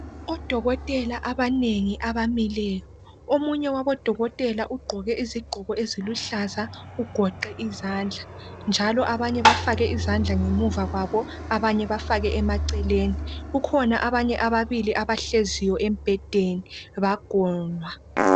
Odokotela abanengi abamileyo. Omunye wabodokotela ugqoke izigqoko eziluhlaza ugoqe izandla njalo abanye bafake izandla ngemuva kwabo abanye bafake emaceleni. Kukhona abanye ababili abahleziyo embhedeni bagonwa